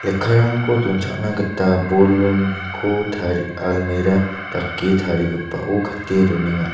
donchakna gita tarie almera dake tarigipao gate donenga.